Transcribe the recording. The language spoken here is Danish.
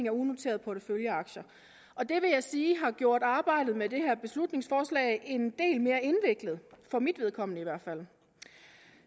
af unoterede porteføljeaktier og det vil jeg sige har gjort arbejdet med det her beslutningsforslag en del mere indviklet for mit vedkommende i hvert fald